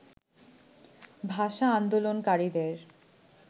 ভাষা আন্দোলনকারীদের